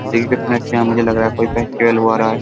देखिए कितने अच्छे यहाँ मुझे लग रहा है। कोई फेस्टिवल हो रहा है।